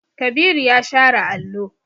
Kabiru ya share allo.